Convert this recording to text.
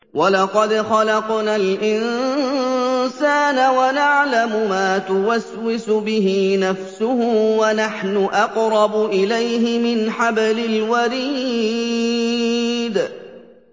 وَلَقَدْ خَلَقْنَا الْإِنسَانَ وَنَعْلَمُ مَا تُوَسْوِسُ بِهِ نَفْسُهُ ۖ وَنَحْنُ أَقْرَبُ إِلَيْهِ مِنْ حَبْلِ الْوَرِيدِ